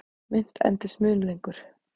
Mynt endist mun lengur.